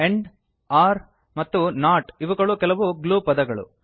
and or ಮತ್ತು not ಇವುಗಳು ಕೆಲವು ಗ್ಲೂ ಪದಗಳು